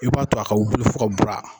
I b'a to a ka wili fo ka bura